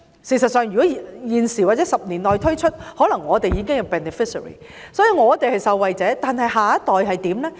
事實上，如果現在或10年內推出全民退休保障，我們可能也會成為受惠者，但下一代會怎樣？